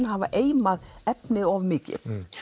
hafi eimað efnið of mikið við